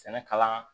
Sɛnɛ kalan